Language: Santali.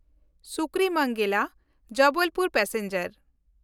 ᱥᱩᱠᱨᱤᱢᱚᱱᱜᱮᱞᱟ–ᱡᱚᱵᱚᱞᱯᱩᱨ ᱯᱮᱥᱮᱧᱡᱟᱨ